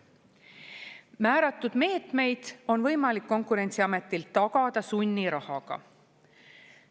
Määratud meetmeid on võimalik Konkurentsiametil tagada sunnirahaga.